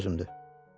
Ciddi sözümdür.